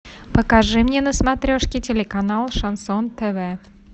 покажи мне на смотрешке телеканал шансон тв